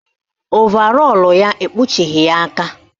Ovarọlụ ya ekpuchighi ya aka